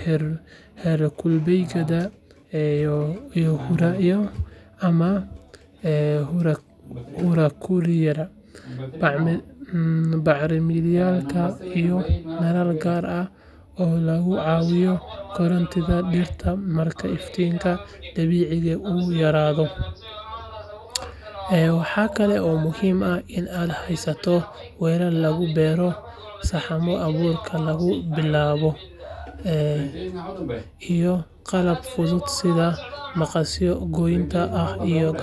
xer kul beyda iyo hurakulida, bacriminaada iyo dalal gar ah lagu cawiyo korontiida dirta marka ifinka dabiciga u yaradho, iyo qalab fuduud sitha maqasyo goynta iyo agafyo.